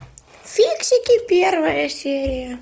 фиксики первая серия